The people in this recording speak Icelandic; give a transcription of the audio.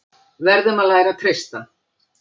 Verðum að læra að treysta